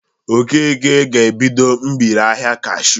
Okeke ga-ebido mgbereahịa kashuu